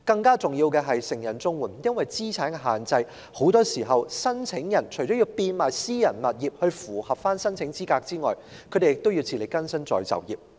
更重要的是成人綜援的申請人很多時除了因資產限制而要變賣私人物業以符合申請資格外，亦要自力更生再就業。